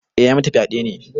Eh ya yi mata fyaɗe ne.